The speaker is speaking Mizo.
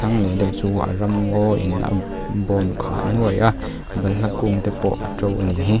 hnung leh deuh chu a ramngawin a bâwm khah nuai a balhla kûngte pawh a ṭo a nih hi.